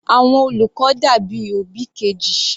Àwọn olùkọ́ dàbí òbí Kejì.